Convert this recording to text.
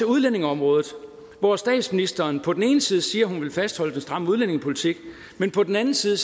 udlændingeområdet hvor statsministeren på den ene side siger at hun vil fastholde den stramme udlændingepolitik men på den anden side